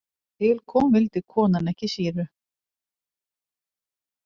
En þegar til kom vildi konan ekki sýru.